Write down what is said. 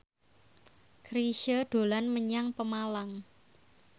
Chrisye dolan menyang Pemalang